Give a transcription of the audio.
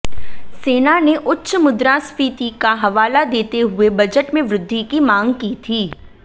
सेना ने उच्च मुद्रास्फीति का हवाला देते हुए बजट में वृद्धि की मांग की थी